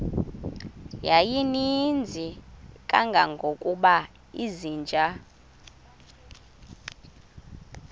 yayininzi kangangokuba izinja